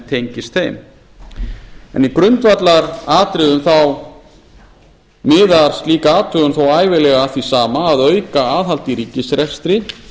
tengist þeim en í grundvallaratriðum þá miðar slík athugun þó ævinlega að því sama að auka aðhald í ríkisrekstri